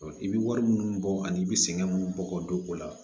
I bɛ wari minnu bɔ ani i bɛ sɛgɛn minnu bɔ k'o don o la